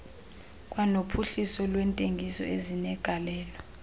kwanophuhliso lwentengiso ezinegalelo